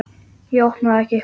Ég opna það ekki.